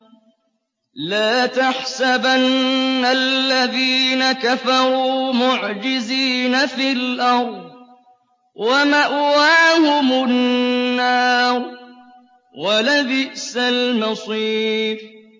لَا تَحْسَبَنَّ الَّذِينَ كَفَرُوا مُعْجِزِينَ فِي الْأَرْضِ ۚ وَمَأْوَاهُمُ النَّارُ ۖ وَلَبِئْسَ الْمَصِيرُ